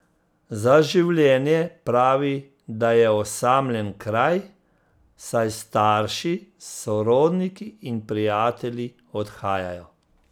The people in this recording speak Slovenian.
Za življenje pravi, da je osamljen kraj, saj starši, sorodniki in prijatelji odhajajo.